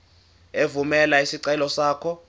evumela isicelo sakho